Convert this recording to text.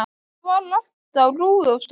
Þar var allt á rúi og stúi.